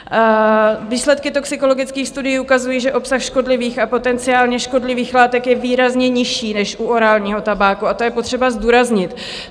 Výsledky toxikologických studií ukazují, že obsah škodlivých a potenciálně škodlivých látek je výrazně nižší než u orálního tabáku, a to je potřeba zdůraznit.